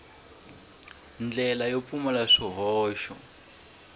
ndlela yo pfumala swihoxo ku